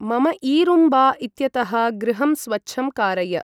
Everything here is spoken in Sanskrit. मम ईरूम्बा इत्यतः गृहं स्वच्छं कारय ।